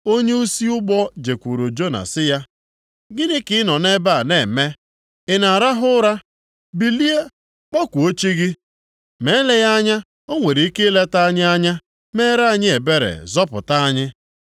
Onyeisi ụgbọ jekwuru Jona sị ya, “Gịnị ka ị nọ nʼebe a na-eme, ị na-arahụ ụra? Bilie, kpọkuo chi gị, ma eleghị anya o nwere ike ileta anyị anya, meere anyị ebere, zọpụta anyị.”